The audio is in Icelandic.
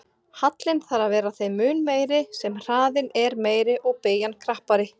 Hallinn þarf að vera þeim mun meiri sem hraðinn er meiri og beygjan krappari.